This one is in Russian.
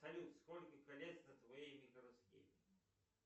салют сколько колец на твоей микросхеме